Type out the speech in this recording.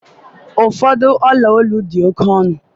ụfọdụ olu dị ọla oke ọnụ